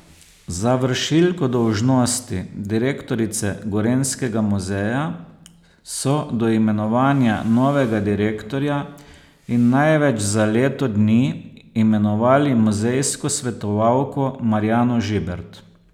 Za vršilko dolžnosti direktorice Gorenjskega muzeja so do imenovanja novega direktorja in največ za leto dni imenovali muzejsko svetovalko Marjano Žibert.